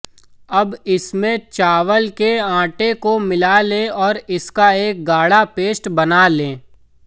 अब इसमें चावल के आटे को मिला लें और इसका एक गाढ़ा पेस्ट बना लें